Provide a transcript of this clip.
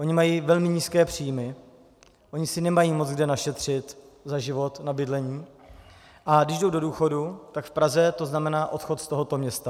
Ony mají velmi nízké příjmy, ony si nemají moc kde našetřit za život na bydlení, a když jsou do důchodu, tak v Praze to znamená odchod z tohoto města.